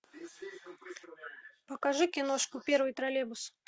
покажи киношку первый троллейбус